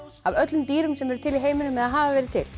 af öllum dýrum sem eru til í heiminum eða hafa verið til